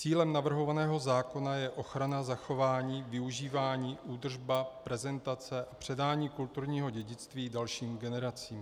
Cílem navrhovaného zákona je ochrana, zachování, využívání, údržba, prezentace a předání kulturního dědictví dalším generacím.